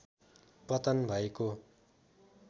पतन भएको